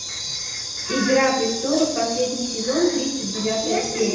игра престолов последний сезон тридцать девятая серия